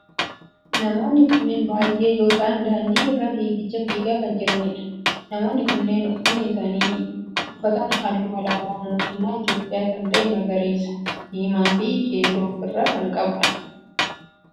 Namoonni kunneen baayyee yoo ta'aan daandii irra fiigicha fiigaa kan jiranidha. Namoonni kunneen uffanni isaan uffatan halluu alaabaa mootummaa Itiyoophiyaa kan ta'e magariisa, diimaa fi keelloo of irraa kan qabudha.